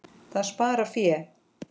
Það sparar fé.